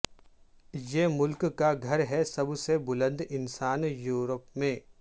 یہ ملک کا گھر ہے سب سے بلند انسان یورپ میں